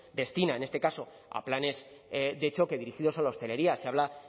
destina en este caso a planes de choque dirigidos a la hostelería se habla